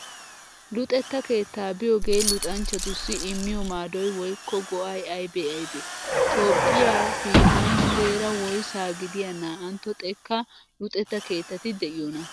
Luxetta keettaa biyogee luxanchchatussi immiyo maadoy woykko go'ay aybee aybee? Toophphiyaa biittan muleera woysaa gidiya naa'antto xekkan luxetta keettati de'iyonaa?